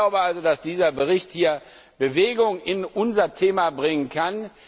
Ich glaube also, dass dieser Bericht Bewegung in unser Thema bringen kann.